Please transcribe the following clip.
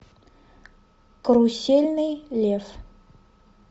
карусельный лев